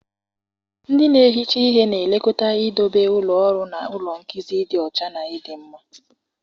Ndị na-ehicha ihe na-elekọta idobe ụlọ ọrụ na ụlọ nkuzi dị ọcha na ịdị mma.